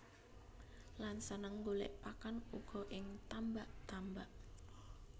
Lan seneng golèk pakan uga ing tambak tambak